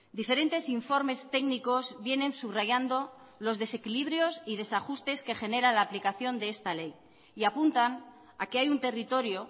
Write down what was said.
diferentes informes técnicos vienen subrayando los desequilibrios y desajustes que genera la aplicación de esta ley y apuntan a que hay un territorio